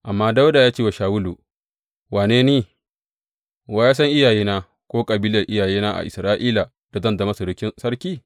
Amma Dawuda ya ce wa Shawulu, Wane ni, wa ya san iyayena ko kabilar iyayena a Isra’ila da zan zama surukin sarki?